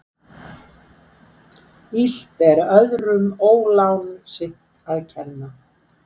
Illt er öðrum ólán sitt að kenna.